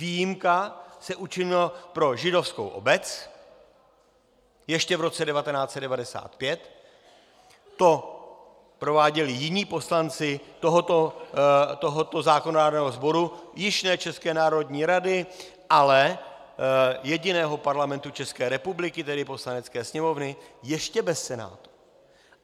Výjimka se učinila pro Židovskou obec ještě v roce 1995, to prováděli jiní poslanci tohoto zákonodárného sboru, již ne České národní rady, ale jediného Parlamentu České republiky, tedy Poslanecké sněmovny ještě bez Senátu.